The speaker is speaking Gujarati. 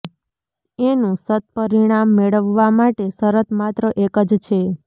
એનું સત્પરિણામ મેળવવા માટે શરત માત્ર એક જ છે